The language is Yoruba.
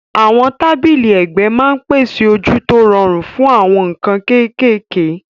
Àwọn tábìlì ẹ̀gbẹ́ máa ń pèsè ojú tó rọrùn fún àwọn nǹkan kéékèèké.